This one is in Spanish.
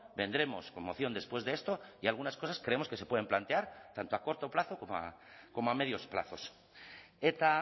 vendremos con moción después de esto y algunas cosas creemos que se pueden plantear tanto a corto plazo como a medios plazos eta